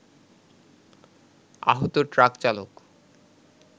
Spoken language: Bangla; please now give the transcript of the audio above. আহত ট্রাক চালক